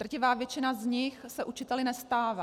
Drtivá většina z nich se učiteli nestává.